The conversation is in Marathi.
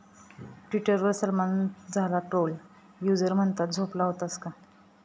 ट्विटरवर सलमान झाला ट्रोल, युजर्स म्हणतात, झोपला होतास का?